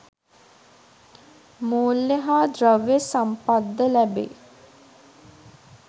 මූල්‍ය හා ද්‍රව්‍ය සම්පත් ද ලැබේ.